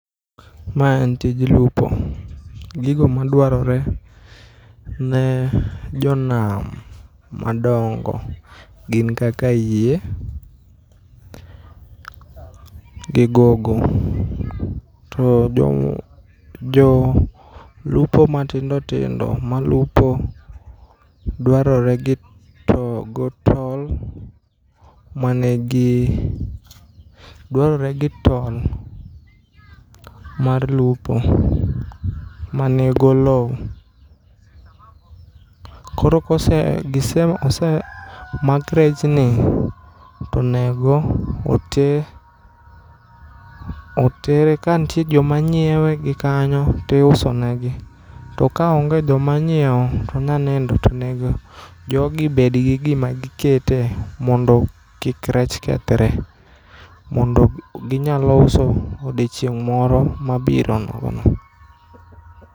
Mae en tij lupo, gigo ma dwarore ne jonam madongo gin kaka yie, gi gogo. To jomo jo lupo ma tindo tindo ma lupo dwarore gi to go tol mane gi dwarore gi tol mar lupo mani golou. Koro kose gise ose mak rechni, tonego ote otere ka nitiere joma nyiewe gi kanyo, tiusonegi. To ka onge joma nyiewo, tonya nindo to nego jogi bed gi gima gikete mondo kik rech kethre. Mondo ginyalo uso odiochieng' moro mabiro nogo no.